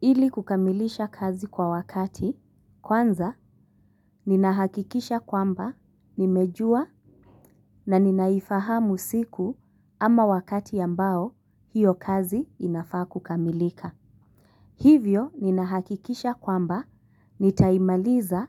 Ili kukamilisha kazi kwa wakati, kwanza ninahakikisha kwamba nimejua na ninaifahamu siku ama wakati ambao hiyo kazi inafaa kukamilika. Hivyo ninahakikisha kwamba nitaimaliza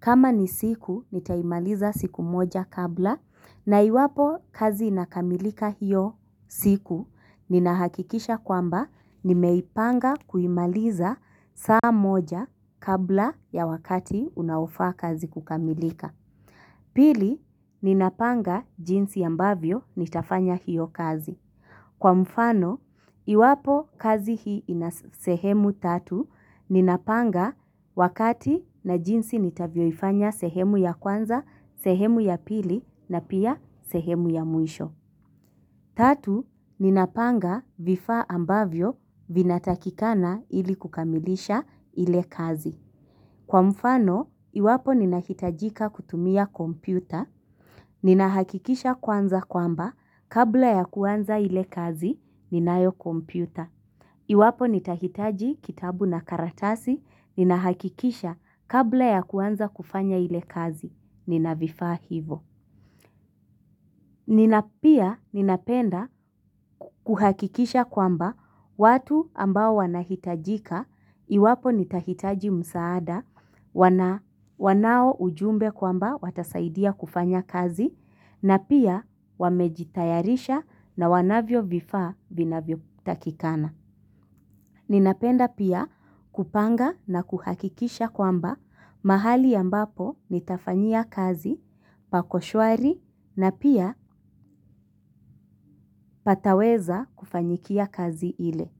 kama ni siku nitaimaliza siku moja kabla na iwapo kazi inakamilika hiyo siku ninahakikisha kwamba nimeipanga kuimaliza saa moja kabla ya wakati unaofaa kazi kukamilika. Pili, ninapanga jinsi ambavyo nitafanya hiyo kazi. Kwa mfano, iwapo kazi hii inasehemu tatu ninapanga wakati na jinsi nitavyoifanya sehemu ya kwanza, sehemu ya pili na pia sehemu ya mwisho. Tatu, ninapanga vifaa ambavyo vinatakikana ili kukamilisha ile kazi. Kwa mfano, iwapo ninahitajika kutumia kompyuta, ninahakikisha kwanza kwamba kabla ya kuanza ile kazi, ninayokompyuta. Iwapo nitahitaji kitabu na karatasi ninahakakisha kabla ya kuanza kufanya ile kazi ninavifaa hivo Ninapia ninapenda kuhakikisha kwamba watu ambao wanahitajika iwapo nitahitaji msaada, wanaoujumbe kwamba watasaidia kufanya kazi na pia wamejitayarisha na wanavyo vifaa vinavyotakikana. Ninapenda pia kupanga na kuhakikisha kwamba mahali ambapo nitafanyia kazi pako shwari na pia pataweza kufanyikia kazi ile.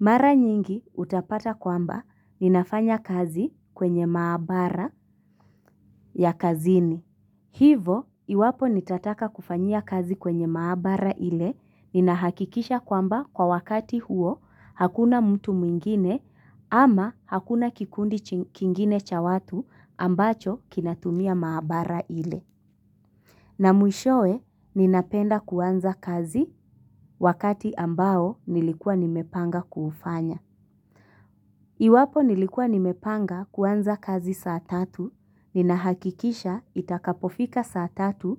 Mara nyingi utapata kwamba ninafanya kazi kwenye maabara ya kazini. Hivo, iwapo nitataka kufanyia kazi kwenye maabara ile ninahakikisha kwamba kwa wakati huo hakuna mtu mwingine ama hakuna kikundi kingine cha watu ambacho kinatumia maabara ile. Na mwishowe, ninapenda kuanza kazi wakati ambao nilikuwa nimepanga kuufanya. Iwapo nilikuwa nimepanga kuanza kazi saa tatu, ninahakikisha itakapofika saa tatu,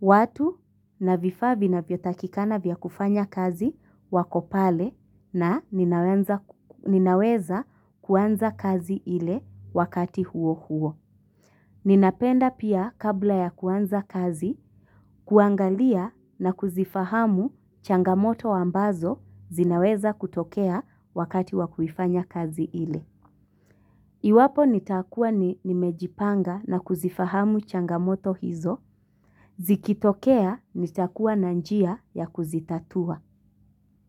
watu na vifaa vinavyotakikana vya kufanya kazi wako pale na ninaweza kuanza kazi ile wakati huo huo. Ninapenda pia kabla ya kuanza kazi, kuangalia na kuzifahamu changamoto ambazo zinaweza kutokea wakati wa kuifanya kazi ile. Iwapo nitakuwa ni nimejipanga na kuzifahamu changamoto hizo, zikitokea nitakuwa na njia ya kuzitatua.